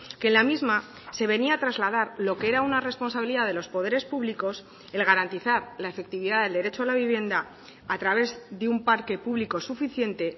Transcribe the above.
que la misma se venía a trasladar lo que era una responsabilidad de los poderes públicos el garantizar la efectividad del derecho a la vivienda a través de un parque público suficiente